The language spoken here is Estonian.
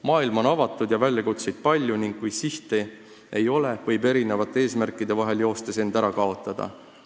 Maailm on avatud ja väljakutseid palju ning kui sihti ei ole, võib inimene erinevate eesmärkide vahel joostes end ära kaotada.